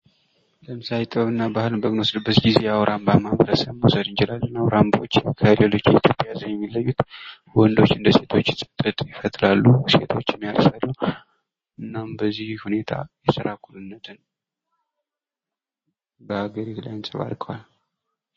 ለምሳሌ ጥበብንና ባህልን በምንወስድበት ጊዜ የአዉራምባ ማህበረሰብን መውሰድ እንችላለን ። አውራምባዎች ከሌሎች የኢትዮጵያ ህዝብ የሚለዩት ወንዶች እንደ ሴቶች ጥጥ ይፈትላሉ ፣ ሴቶችም ያርሳሉ ። እናም በዚህ ሁኔታ የስራ እኩልነትን በሀገሪቱ ላይ እንፀባርቀዋል ።